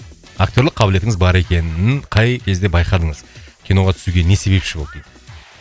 актерлік қабілетіңіз бар екенін қай кезде байқадыңыз киноға түсуге не себепші болды дейді